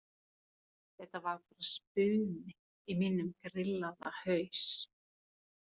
Þetta var bara spuni í mínum grillaða haus.